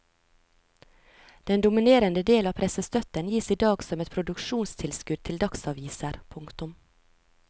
Den dominerende del av pressestøtten gis i dag som et produksjonstilskudd til dagsaviser. punktum